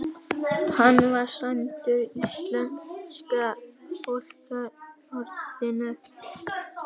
Hann var sæmdur íslensku fálkaorðunni